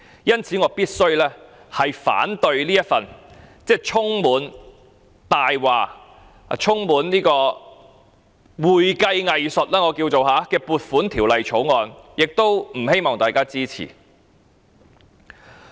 因此，我必須反對這份充滿謊言，充滿我稱為會計"偽術"的《2019年撥款條例草案》，亦不希望大家支持。